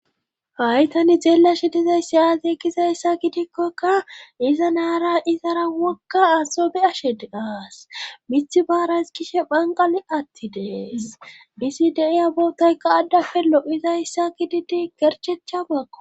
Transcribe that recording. haytani xeelashe dizay si aze ekkizayssa gidikkokka iza naara izara wokka aso be ashed aas mithi baarays kishe phanqali atti dees disi deiya bootayka addafe lo7izayssa ki didi gerchecha bakko